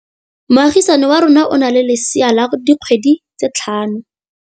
Moagisane wa rona o na le lesea la dikgwedi tse tlhano.